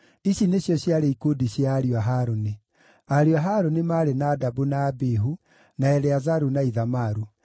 Ici nĩcio ciarĩ ikundi cia ariũ a Harũni: Ariũ a Harũni maarĩ Nadabu, na Abihu, na Eleazaru, na Ithamaru.